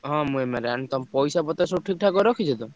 ହଁ ମୁଁ MI ର ଆଇଁଲି। ତମ ପଇସାପତ୍ର ସବୁ ଠିକ୍ ଠାକ୍ କରି ରଖିଛ ତ?